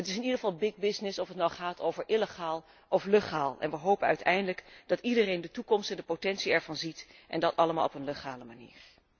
Het is in ieder geval big business of het nu gaat over illegaal of legaal, en wij hopen uiteindelijk dat iedereen de toekomst en de potentie ervan ziet, en dat allemaal op een legale manier.